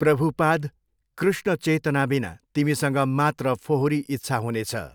प्रभुपाद कृष्ण चेतनाबिना तिमीसँग मात्र फोहोरी इच्छा हुनेछ।